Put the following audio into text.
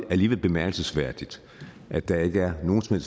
alligevel bemærkelsesværdigt at der ikke er nogen som